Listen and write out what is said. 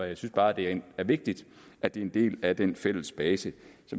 jeg synes bare det er vigtigt at det er en del af den fælles basis